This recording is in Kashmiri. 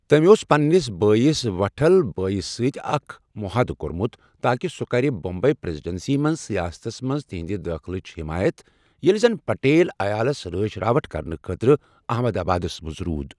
تٔمۍ اوس پننِس بٲیِس وٹھل بھایی یس سۭتۍ اکھ مُحادٕ کوٚرمُت تاکہ سُہ کَرِ بمبے پریزیڈنسی منٛز سیاستس منٛز تہنٛدٕ دٲخلٕچ حٮ۪مایت، ییٚلہ زن پٹیل عیالس رٲچھ راوَٹھ کَرنہٕ خٲطرٕ احمد آبادس منٛز روٗد۔